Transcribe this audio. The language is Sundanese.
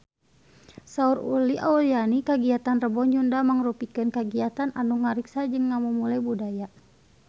Saur Uli Auliani kagiatan Rebo Nyunda mangrupikeun kagiatan anu ngariksa jeung ngamumule budaya Sunda